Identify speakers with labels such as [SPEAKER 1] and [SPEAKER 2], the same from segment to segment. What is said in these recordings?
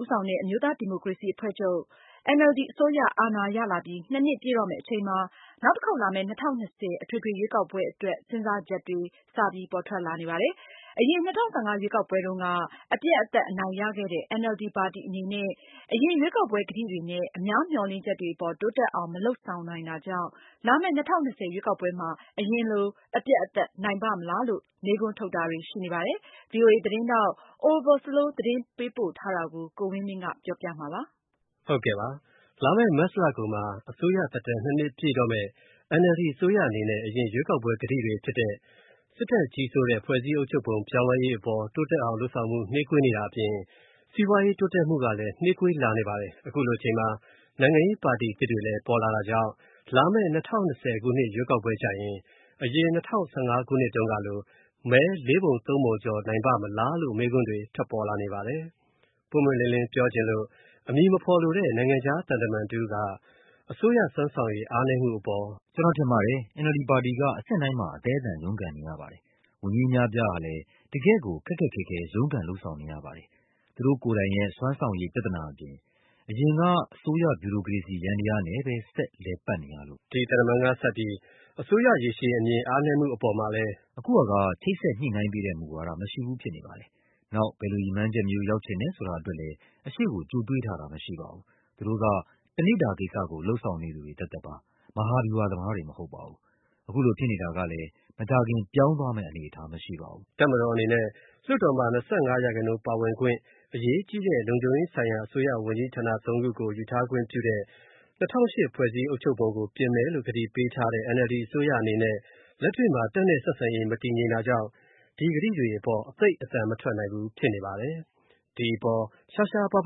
[SPEAKER 1] ဦးဆောင်တဲ့ အမျိုးသားဒီမိုကရေစီအဖွဲ့ချုပ် အစိုးရအာဏာရလာပြီး နှစ်ပြည့်တော့မဲ့ အချိန်မှာနောက်တစ်ခေါက်လာမဲ့ ၂၀၂၀ အထွေထွေရွေးကောက်ပွဲအတွက် စဉ်းစားချက်တွေ စပေါ်ထွက်လာနေပါတယ်။ အရင် ၂၀၁၅ ရွေးကောက်ပွဲတုံးက သောင်ပြိုကမ်းပြိုနိုင်ခဲ့တဲ့ NLD ပါတီ အနေနဲ့ အရင် ရွေးကောက်ပွဲကတိတွေနဲ့ အများမျှော်လင့်ချက်တွေအပေါ် တိုးတက်အောင် မလုပ်ဆောင်နိုင်တာကြောင့် လာမဲ့ ၂၀၂၀ ရွေးကောက်ပွဲမှာ အရင်လို အပြတ်နိုင်ပါ့မလားလို့ မေးခွန်းထုတ်တာတွေ ရှိနေပါတယ်။ ဒီအကြောင်း VOA သတင်းထောက် Oliver Slow သတင်းပို့ထားတာကို ကိုဝင်းမင်းက ပြောပြပေးမှာပါ။ လာမယ့် မတ်လကုန်မှာ အစိုးရသက်တမ်း ၂ နှစ် ပြည့်တော့မယ့် NLD အစိုးရအနေနဲ့ အရင်ရွေးကောက်ပွဲ ကတိတွေဖြစ်တဲ့ စစ်တပ်ကြီးစိုးတဲ့ ဖွဲ့စည်းအုပ်ချုပ်ပုံပြောင်းလဲရေးအပေါ် တိုးတက်အောင်လုပ်ဆောင်ဖို့ နှေးကွေးနေတာအပြင် စီးပွားရေးတိုးတက်ဖို့ကလည်း နှေးကွေးလာနေပါတယ်။ အခုလိုအချိန်မှာ နိုင်ငံရေးပါတီအသစ်တွေလည်း ပေါ်လာတာကြောင့် လာမယ့် ၂၀၂၀ ခုနှစ်ရွေးကောက်ပွဲကျရင် အရင်၂၀၁၅ တုန်းကလို မဲ ၄ ပုံ ၃ ပုံ ကျော်နိုင်ပါ့မလားလို့ မေးခွန်းတွေ ထွက်ပေါ်နေပါတယ်။ ပွင့်ပွင့်လင်းလင်းပြောချင်လို့ အမည်မဖော်လိုတဲ့ နိုင်ငံခြားသံတမန်တဦး က အစိုးရစွမ်းဆောင်ရည်အားနည်း
[SPEAKER 2] မှုအပေါ် "ကျွန်တော်ထင်ပါတယ်။ NLD ပါတီက အဆင့်တိုင်းမှာ အသဲအသန် ရုံးကန်နေရပါတယ်။ ဝန်ကြီး အများအပြားဟာလဲ တကယ့်ကို ခက်ခက်ခဲခဲ ရုန်းကန်လုပ်ဆောင်နေရပါတယ်၊ သူတို့ ကိုယ်တိုင်ရဲ့ စွမ်းဆောင်ရည် ပြဿနာအပြင်၊ အရင်က အစိုးရ ဗျူရိုကရေစီယန္တယားနဲ့ပဲ ဆက်လည်ပတ်နေရလို့
[SPEAKER 1] ပါ။" ဒီသံတမန်ကဆက်ပြီး အစိုးရရေရှည်အားနည်းမှုအပေါ်မှာ လည်း "အခုဟာက ချိတ်ဆက်
[SPEAKER 2] ညှိုနှိုင်းပေးတဲ့ မူဝါဒ မရှိဘူးဖြစ်နေပါတယ်။ နောက် ဘယ်လိုရည်မှန်းချက်မျိုး ရောက်ချင်တယ်ဆိုတာအတွက်လဲ အရှေ.ကို ကြိုတွေးထားတာ မရှိပါဘူး။ သူတို့က တနေ့ဓူဝကိစ္စ လုပ်ဆောင်နေသူတွေ သက်သက်ပါ။ မဟာဗျူဟာ သမားတွေ မဟုတ်ပါဘူး။ အခုလိုဖြစ်နေတာကလည်း မကြာခင် ပြောင်းသွားမဲ့ အနေအထား မရှိပါဘူူး။
[SPEAKER 1] " တပ်မတော်အနေနဲ့လည်း လွှတ်တော်မှာ ၂၅ ရာခိုင်နှုန်းပါဝင်ခွင့် အရေးကြီးတဲ့ လုံခြုံရေးဆိုင်ရာ အစိုးရဝန်ကြီးဌာန ၃ ခုကို ယူထားခွင့်ပြုတဲ့ ၂၀၀၈ ဖွဲ့စည်းအုပ်ချုပ်ပုံကို ပြင်မယ်လို့ ကတိ ပေးထားတဲ့ NLD အစိုးရအနေနဲ့ လက်တွေ့မှာ တပ်နဲ့ ဆက်ဆံရေး မတည်ငြိမ်တာကြောင့် ဒီကတိတွေအပေါ် သိပ်အသံမထွက်နိုင်ဘူး ဖြစ်နေပါတယ်။ ဒီအပေါ်ရှားရှားပါး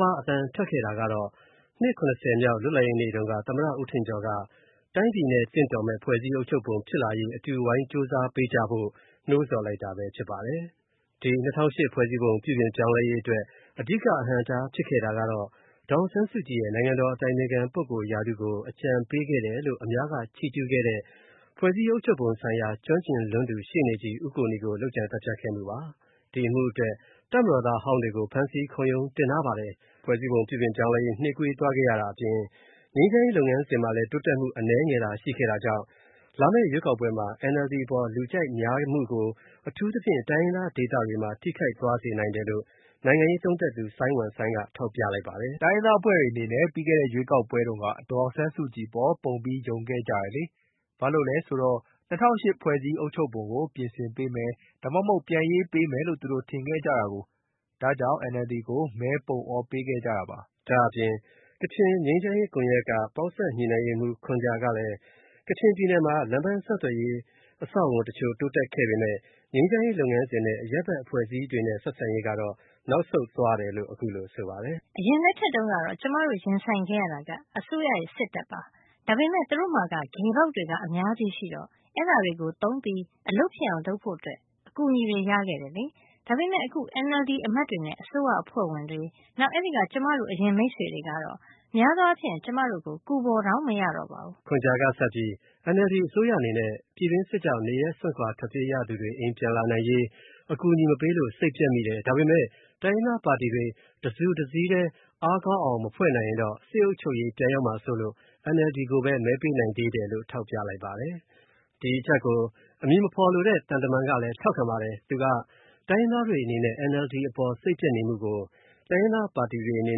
[SPEAKER 1] ပါးအသံထွက်ခဲ့တာကတော့ နှစ် ၇၀ မြောက်လွှတ်လပ်ရေးနေ့တုန်းက သမ္မတ ဦးထင်ကျော်က တိုင်းပြည်နဲ့ သင့်တော်တဲ့ ဖွဲ့စည်းအုပ်ချုပ်ပုံဖြစ်လာရေးအတွက် အတူဝိုင်းကြိုးစားပေးကြဖို့ နိုးဆော်လိုက်တာပဲဖြစ်ပါတယ်။ ဒီ ၂၀၀၈ ဖွဲ့စည်းပုံ ပြုပြင်ပြောင်းလဲရေးအတွက် အဓိက အဟန့်အတားဖြစ်ခဲ့တာကတော့ ဒေါ်အောင်ဆန်းစုကြည်ရဲ့ နိုင်ငံတော်အတိုင်ပင်ခံ ပုဂ္ဂိုလ်ရာထူးကို အကြံပေးခဲ့တယ်လို့ အများက ချီးကျူးခဲ့တဲ့ ဖွဲ့စည်းအုပ်ချုပ်ပုံဆိုင်ရာ ကျွမ်းကျင်လွန်းသူ ရှေ့နေ ဦးကိုနီကို လုပ်ကြံသတ်ဖြတ်ခဲ့မှုပါ။ ဒီအမှုအတွက် တပ်မတော်သားအဟောင်းတွေကို ဖမ်းဆီး ခုံရုံးတင်ထားပါတယ်။ ဖွဲ့စည်းပုံ ပြုပြင်ပြောင်းလဲရေး နှေးကွေးသွားရတာအပြင် ငြိမ်းချမ်းရေး လုပ်ငန်းစဉ်မှာလည်း တိုးတက်မှု အနည်းငယ်သာ ရှိခဲ့တာကြောင့် လာမယ့်ရွေးကောက်ပွဲမှာ NLD အပေါ်လူကြိုက်များမှု ကို အထူးသဖြင့် တိုင်းရင်းသားဒေသတွေမှာ ထိခိုက်သွားစေနိုင်တယ်လို့ နိုင်ငံရေးသုံးသပ်သူ စိုင်းဝမ်စိုင်းက ထောက်ပြလိုက်ပါတယ်။ "တိုင်းရင်းသားအဖွဲ့တွေအနေနဲ့ ပြီးခဲ့တဲ့ ရွေးကောက်ပွဲတုန်းက ဒေါ်အောင်ဆန်းစုကြည်အပေါ် ပုံပြီး ယုံခဲ့ကြတယ်လေ၊ ဘာလို့လဲဆိုတော့ ၂၀၀၈ ဖွဲ့စည်းအုပ်ချုပ်ပုံကို ပြင်ဆင်ပေးမယ်၊ ဒါမှမဟုတ် ပြန်ရေးပေးမယ်လို့ သူတို့ ထင်ခဲ့ကြတာကိုး။ ဒါကြောင့် NLD ကို မဲ ပုံအော ပေးခဲ့လိုက်တာလေ။" ဒါ့အပြင် ကချင်ငြိမ်းချမ်းရေးကွန်ရက်က ပေါင်းစပ် ညှိနှိုင်းရေးမှူး ခွန်ဂျာကလည်း ကချင်ပြည်နယ်မှာ လမ်းပန်းဆက်သွယ်ရေး အဆောက်အအုံတချို့တိုးတက်မှုရှိခဲ့ပေမယ့် ငြိမ်းချမ်းရေးလုပ်ငန်းစဉ်နဲ့ အရပ်ဘက်အဖွဲ့အစည်းတွေ ဆက်ဆံရေးကတော့ နောက်ဆုတ်သွားတယ်လို့ အခုလို ဆိုပါတယ်။
[SPEAKER 2] "အရင်လက်ထက်တုန်း ကတော့ ကျွန်မတို့ ရင်ဆိုင်ခဲ့ရတဲ့ အစိုးရက စစ်တပ်ပါ။ ဒါပေမဲ့ သူတို့မှာက ဂယ်ပေါက်တွေ အများကြီးရှိတော့ အဲ့ဒါတွေကို သုံးပြီး အလုပ်ဖြစ်အောင် လုပ်ဖို့ အကူအညီတွေ ရခဲ့တယ်လေ။ ဒါပေမဲ့ အခု NLD အမတ်တွေနဲ့ အစိုးရအဖွဲ့ဝင်တွေ၊ နောက် အဲ့ဒိက ကျွန်မတို့ အရင် မိတ်ဆွေတွေကတော့ များသောအားဖြင့် ကျွန်တော်တို့ကို ကူဖော်တောင် မရတော့ပါဘူး။
[SPEAKER 1] " ခွန်ဂျာကဆက်ပြီး NLD အစိုးရအနေနဲ့ ပြည်တွင်းစစ်ကြောင့် နေရပ်စွန့်ခွာထွက်ပြေးရသူတွေ အိမ်ပြန်လာနိုင်ရေး အကူအညီမပေးလို့ စိတ်ပျက်မိတယ်၊ ဒါပေမယ့် တိုင်းရင်းသားပါတီတွေ တစုတစည်းထဲ အားကောင်းအောင်မဖွဲ့နိုင်ရင်တော့ စစ်အုပ်ချုပ်ရေး ပြန်ရောက်မှာစိုးလို့ NLD ကိုပဲ မဲပေးနိုင်သေးတယ်လို့ ထောက်ပြလိုက်ပါတယ်။ ဒီအချက်ကို အမည်မဖော်လိုတဲ့ သံတမန်ကလည်း ထောက်ခံပါတယ်။ သူက တိုင်းရင်းသားတွေအနေနဲ့ NLD အပေါ် စိတ်ပျက်နေမှုကို တိုင်းရင်းသားပါတီတွေ အနေ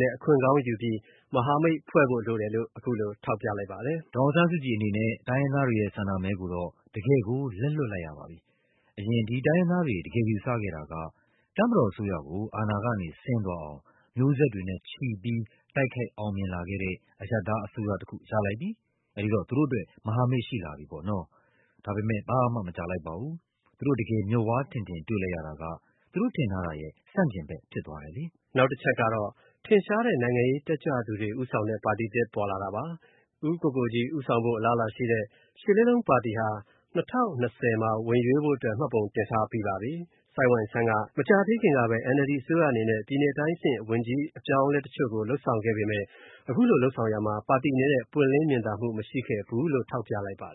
[SPEAKER 1] နဲ့ အခွင့်ကောင်းယူပြီး မဟာမိတ်ဖွဲ့ဖို့လိုတယ်လို့ အခုလို ထောက်ပြလိုက်ပါတယ်။
[SPEAKER 2] "ဒေါ်အောင်ဆန်းစုကြည်အနေနဲ့ တိုင်းရင်သားတွေရဲ့ ဆန္ဒမဲ ကိုတော့ တကယ့်ကို လက်လွှတ်လိုက်ရပါပြီ။ အရင် ဒီတိုင်းရင်းသားတွေ တကယ်ယူဆခဲ့တာက တပ်မတော်အစိုးရကို အာဏာကနေဆင်းသွားအောင် မျိးဆက်တွေနဲ့ချီပြီး တိုက်ခိုက်အောင်မြင်လာခဲ့တဲ့ အရပ်သားအစိုးရတစ်ခု ရလိုက်ပြီ၊ အဲ့ဒီတော့ သူတို့အတွက် မဟာမိတ် ရှိလာပြီပေါ့နော်။ ဒါပေမဲ့ ဘာမှမကြာလိုက်ပါဘူး၊ သူတို့ တကယ် မျက်ဝါးထင်ထင်တွေ့လိုက်ရတာက သူတို့ထင်ထားတာရဲ့ ဆန့်ကျင်ဖက်ဖြစ်သွားတယ်လေ။
[SPEAKER 1] " နောက်တချက်ကတော့ ထင်ရှားတဲ့သူတွေဦးဆောင်တဲ့ ပါတီသစ်ပေါ်လာတာပါ။ ဦးကိုကိုကြီးဦးဆောင်ဖို့ အလားအလာရှိတဲ့ ၈ လေးလုံးပါတီဟာ ၂၀၂၀ မှာ ဝင်ရွေးဖို့အတွက် မှတ်ပုံတင်ထားပြီးပါပြီ။ ဆိုင်းဝမ်ဆိုင်းကတော့ မကြာသေးခင်ကပဲ NLD အစိုးရအနေနဲ့ တိုင်းအဆင့်ဝန်ကြီးအပြောင်းအလဲတချို့ကို လုပ်ဆောင်ခဲ့ပေမယ့် အခုလိုလုပ်ဆောင်ရာမှာ ပါတီအနေနဲ့ ပွင့်လင်း မြင်သာမှုမရှိခဲ့ဘူးလို့ ထောက်ပြလိုက်ပါတယ်